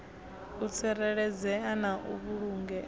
u tsireledzea na u vhulungea